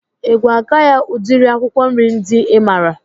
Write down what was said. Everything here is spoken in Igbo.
I ga-agwa ya udiri akwụkwọ nri ndị I maara?